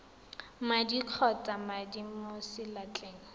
madi kgotsa madi mo seatleng